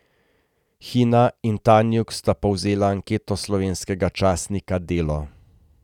Hina in Tanjug sta povzela anketo slovenskega časnika Delo.